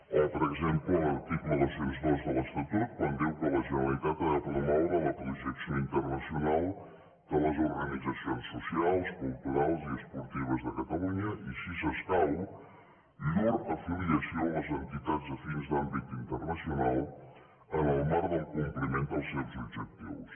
o per exemple l’article dos cents i dos de l’estatut quan diu que la generalitat ha de promoure la projecció internacional de les organitzacions socials culturals i esportives de catalunya i si s’escau llur afiliació a les entitats afins d’àmbit internacional en el marc del compliment dels seus objectius